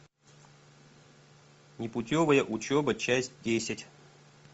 непутевая учеба часть десять